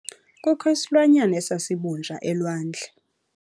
Kukho isilwanyana esisabunja elwandle.